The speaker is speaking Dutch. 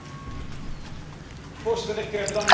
Voorzitter, ik bedank mijn collega voor de vraag.